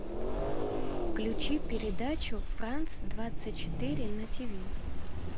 включи передачу франс двадцать четыре на тиви